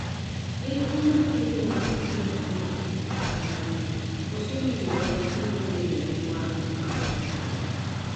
En tuo makelo makelo chandruok ar adundo ,koso winjo wach kendo bedo gi wang' ma okethore.